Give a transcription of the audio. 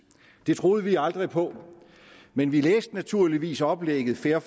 det troede vi aldrig på men vi læste naturligvis oplægget fair